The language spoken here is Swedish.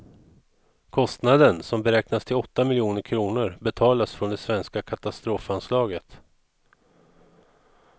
Kostnaden, som beräknas till åtta miljoner kronor, betalas från det svenska katastrofanslaget.